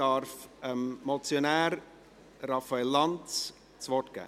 Ich darf dem Motionär, Raphael Lanz, das Wort geben.